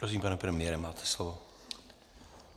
Prosím, pane premiére, máte slovo.